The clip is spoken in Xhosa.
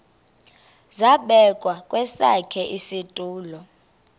zabekwa kwesakhe isitulo